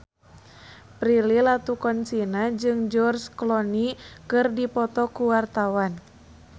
Prilly Latuconsina jeung George Clooney keur dipoto ku wartawan